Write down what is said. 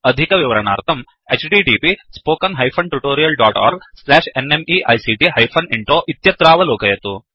अधिकविवरणार्थं 2 इत्यत्रावलोकयतु